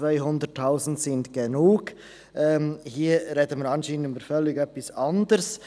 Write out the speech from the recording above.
Hier sprechen wir nun anscheinend über völlig etwas anderes.